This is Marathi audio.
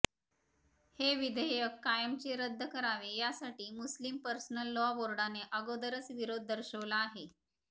हे विधेयक कायमचे रद्द करावे यासाठी मुस्लीम पर्सनल लॉ बोर्डाने अगोदरच विरोध दर्शवला आहे